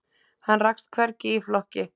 Hann rakst hvergi í flokki.